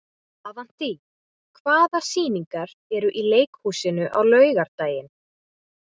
Avantí, hvaða sýningar eru í leikhúsinu á laugardaginn?